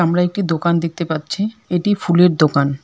আমরা একটি দোকান দেখতে পাচ্ছি এটি ফুলের দোকান।